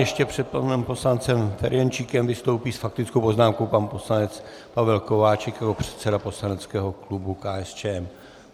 Ještě před panem poslancem Ferjenčíkem vystoupí s faktickou poznámkou pan poslanec Pavel Kováčik jako předseda poslaneckého klubu KSČM.